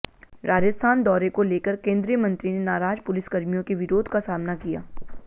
राजस्थान दौरे को लेकर केंद्रीय मंत्री ने नाराज पुलिसकर्मियों के विरोध का सामना किया